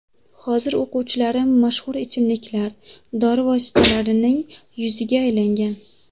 Hozir o‘quvchilarim mashhur ichimliklar, dori vositalarining yuziga aylangan.